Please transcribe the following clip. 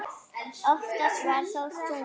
Oftast var þó sungið.